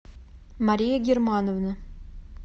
мария германовна